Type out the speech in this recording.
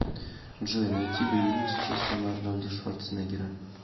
джой найти боевик с участием арнольда шварценегера